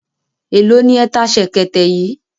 Èló ni ẹ ta ṣẹ̀kẹ̀tẹ̀ yìí?